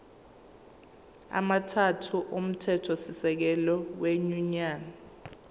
amathathu omthethosisekelo wenyunyane